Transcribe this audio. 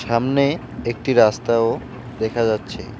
সামনে একটি রাস্তাও দেখা যাচ্ছে।